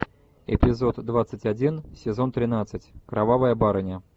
эпизод двадцать один сезон тринадцать кровавая барыня